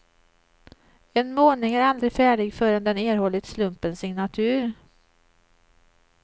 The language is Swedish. En målning är aldrig färdig förrän den erhållit slumpens signatur.